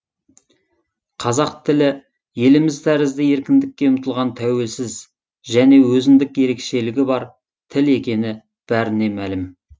қазақ тілі еліміз тәрізді еркіндікке ұмтылған тәуелсіз және өзіндік ерекшелігі бар тіл екені бәріне мәлім